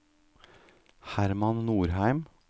Hermann Norheim